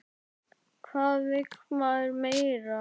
Hvað vill maður meira?